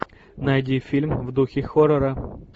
найди фильм в духе хоррора